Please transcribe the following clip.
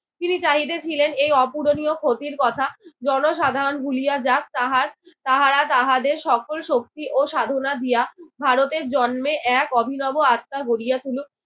তিনি চাহিতেছিলেন এই অপূরণীয় ক্ষতির কথা জনসাধারণ ভুলিয়া যাক তাহার তাহারা তাহাদের সকল শক্তি ও সাধনা দিয়া ভারতের জন্মে এক অভিনব আস্থা গড়িয়া তুলক।